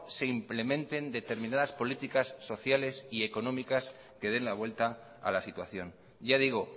se implementen determinadas políticas sociales y económicas que den la vuelta a la situación ya digo